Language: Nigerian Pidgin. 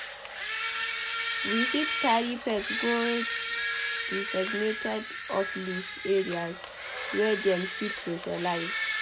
We fit carry pet go designated off-leash areas wey dem fit socialize